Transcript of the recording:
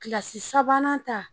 Kilasi sabanan ta.